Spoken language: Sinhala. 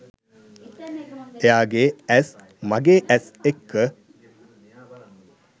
එයාගෙ ඇස් මගෙ ඇස් එක්ක